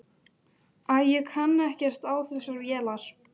Æ, ég kann ekkert á þessar vélar.